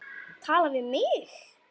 Tala við mig?